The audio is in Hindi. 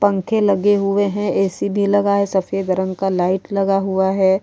पंखे लगे हुए हैं। ऐ.सी भी लगा है। सफेद रंग का लाइट लगा हुआ है।